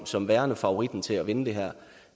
som værende favorit til at vinde det her